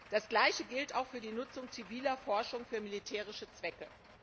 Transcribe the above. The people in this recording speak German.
Das Gleiche gilt auch für die Nutzung ziviler Forschung für militärische Zwecke.